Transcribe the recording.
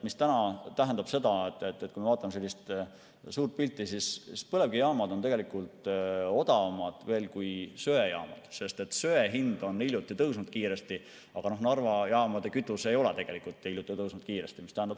See tähendab seda, et kui me vaatame suurt pilti, siis põlevkivijaamad on tegelikult odavamad kui söejaamad, sest söe hind hiljuti kiiresti tõusis, aga Narva jaamades ei ole kütuse hind hiljuti kiiresti tõusnud.